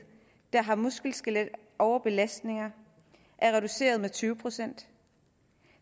der har muskel skelet overbelastninger er reduceret med tyve procent